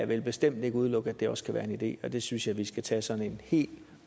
vil bestemt ikke udelukke at det også kan være en idé og det synes jeg vi skal tage sådan en helt